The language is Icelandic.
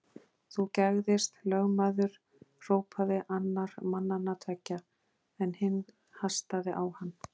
Þú gægðist, lögmaður hrópaði annar mannanna tveggja, en hinn hastaði á hann.